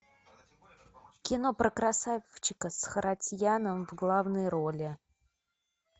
кино про красавчика с харатьяном в главной роли